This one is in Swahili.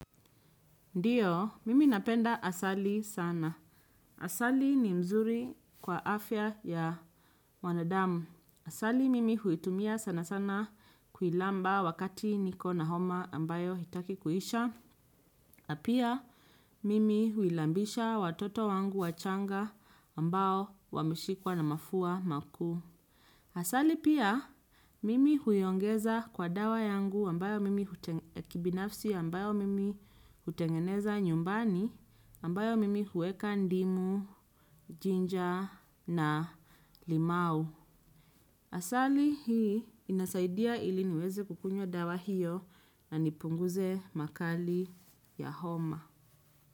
Ndiyo, mimi napenda asali sana. Asali ni mzuri kwa afya ya wanadamu. Asali mimi huitumia sana sana kuilamba wakati niko na homa ambayo hitaki kuisha. Na pia, mimi huilambisha watoto wangu wachanga ambao wameshikwa na mafua maku. Asali pia mimi huyongeza kwa dawa yangu ambayo mimi utengeneza nyumbani ambayo mimi huweka ndimu, jinja na limau. Asali hii inasaidia ili niweze kukunywa dawa hiyo na nipunguze makali ya homa.